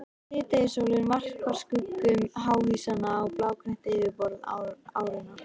Síðdegissólin varpar skuggum háhýsanna á blágrænt yfirborð árinnar.